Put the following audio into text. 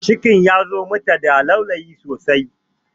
Cikin ya zo mata da laulayi sosai